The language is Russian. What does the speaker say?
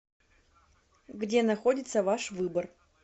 где находится ваш выбор